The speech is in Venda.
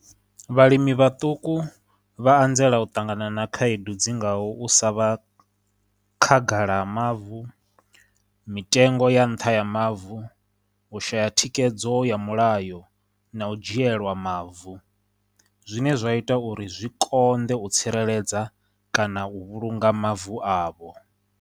Vhalimi vhaṱuku vha anzela u ṱangana na khaedu dzi ngaho u sa vha khagala ha mavu, mitengo ya nṱha ya mavu, u shaya thikedzo ya mulayo, na u dzhielwa mavu, zwine zwa ita uri zwi konḓe u tsireledza kana u vhulunga mavu avho.